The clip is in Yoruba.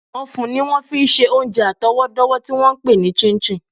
Ọ̀fun ni wọ́n fi ń ṣe oúnjẹ àtọwọ́dọ́wọ́ tí wọ́n ń pè ní chin chin